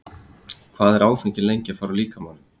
Hvað er áfengi lengi að fara úr líkamanum?